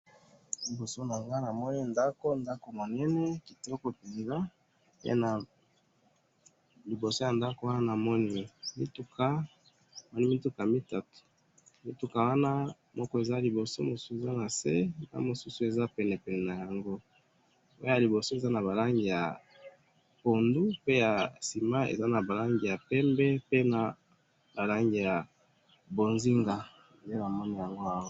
liboso nnanga namoni ndaku ndaku minene kitoko penza pena liboso ya ndaku wana namoni mituka mituka mitatu wana moko eza na liboso mosusu nase na mosusueza pene nayango oyo eza na libosorza naba langi ya pundu na pembe oyo mosusu eza naba langi ya pembe na mbonzinga nde namoni yango awa